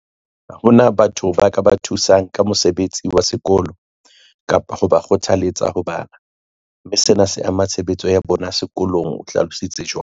Ha hona batho ba ka ba thusang ka mosebetsi wa sekolo kapa ho ba kgothalletsa ho bala, mme sena se ama tshebetso ya bona sekolong, o hlalo sitse jwalo.